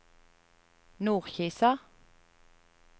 Nordkisa